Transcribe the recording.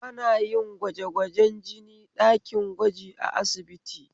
Ana yin gwajegwajen jini ɗakin gwaji a asibiti